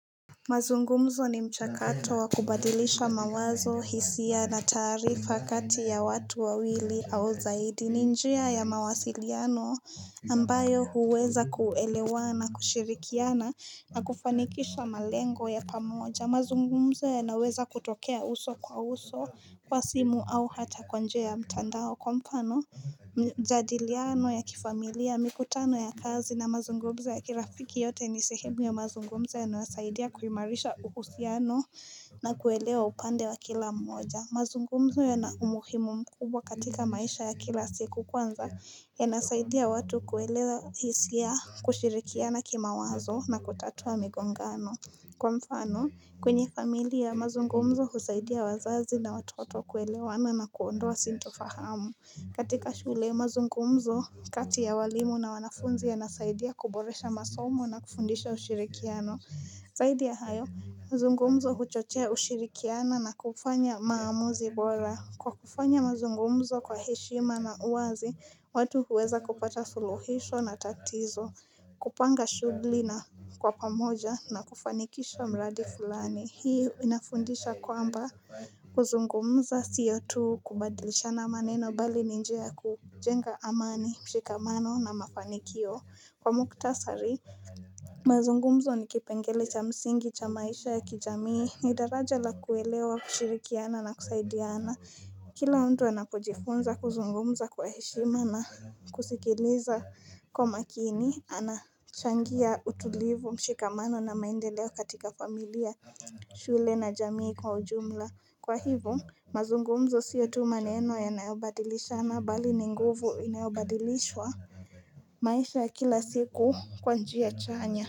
Mazungumzo ni mchakato wa kubadilisha mawazo hisia na taarifa kati ya watu wawili au zaidi. Ni njia ya mawasiliano ambayo huweza kuelewana na kushirikiana na kufanikisha malengo ya pamoja. Mazungumzo yanaweza kutokea uso kwa uso kwa simu au hata kwa njia ya mtandao kwa mfano. Majadiliano ya kifamilia mikutano ya kazi na mazungumzo ya kirafiki yote ni sehemu ya mazungumzo yanayosaidia kuimarisha uhusiano na kuelewa upande wa kila mmoja mazungumzo yana umuhimu mkubwa katika maisha ya kila siku. Kwanza, yanasaidia watu kuelewa hisia kushirikiana kimawazo na kutatua migongano Kwa mfano, kwenye familia mazungumzo husaidia wazazi na watoto kuelewana na kuondoa sitofahamu. Katika shule mazungumzo kati ya walimu na wanafunzi yanasaidia kuboresha masomo na kufundisha ushirikiano zaidi ya hayo mazungumzo huchochea ushirikiano na kufanya maamuzi bora, Kwa kufanya mazungumzo kwa heshima na uwazi watu huweza kupata suluhisho na tatizo kupanga shughli na kwa pamoja na kufanikisha mradi fulani hii inafundisha kwamba, kuzungumza sio tu kubadilishana maneno bali ni njia kujenga amani mshikamano na mafanikio kwa muktasari mazungumzo ni kipengele cha msingi cha maisha ya kijamii ni daraja la kuelewa kushirikiana na kusaidiana Kila mtu anapojifunza kuzungumza kwa heshima na kusikiliza kwa makini anachangia utulivu mshikamano na maendeleo katika familia shule na jamii kwa ujumla kwa hivo mazungumzo sio tu maneno yanayobadilishana bali ni nguvu inayobadilishwa maisha kila siku kwa njia chanya.